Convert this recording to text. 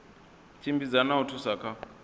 tshimbidza na u thusa kha